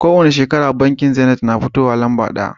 Kowani shekara bankin zenit na fitowa lamba daya